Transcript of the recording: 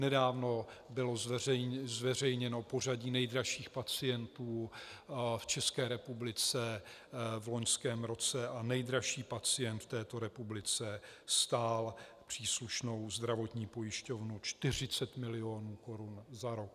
Nedávno bylo zveřejněno pořadí nejdražších pacientů v České republice v loňském roce a nejdražší pacient v této republice stál příslušnou zdravotní pojišťovnu 40 milionů korun za rok.